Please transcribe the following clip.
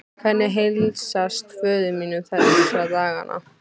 Hvernig heilsast föður mínum þessa dagana?